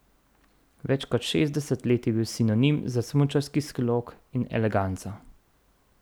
Več kot šestdeset let je bil sinonim za smučarski slog in eleganco.